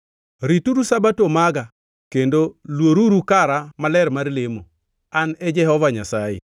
Rituru Sabato maga, kendo luoruru kara maler mar lemo. An e Jehova Nyasaye.